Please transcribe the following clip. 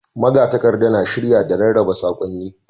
Magatakarda na shirya, da rarraba saƙonni.